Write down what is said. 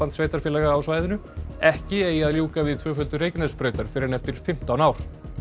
sveitarfélaga á svæðinu ekki eigi að ljúka við tvöföldun Reykjanesbrautar fyrr en eftir fimmtán ár